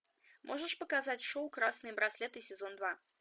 можешь показать шоу красные браслеты сезон два